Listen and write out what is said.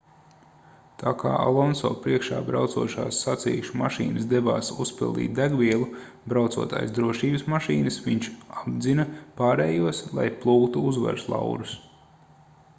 tā kā alonso priekšā braucošās sacīkšu mašīnas devās uzpildīt degvielu braucot aiz drošības mašīnas viņš apdzina pārējos lai plūktu uzvaras laurus